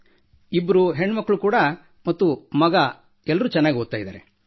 ಇಬ್ಬರು ಹೆಣ್ಣು ಮಕ್ಕಳು ಮತ್ತು ಮಗ ಓದುತ್ತಿದ್ದಾರೆ